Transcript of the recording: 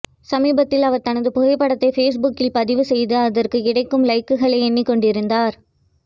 சமீபத்தில் அவர் தனது புகைப்படத்தை ஃபேஸ்புக்கில் பதிவு செய்து அதற்கு கிடைக்கும் லைக்குகளை எண்ணி கொண்டிருந்தார்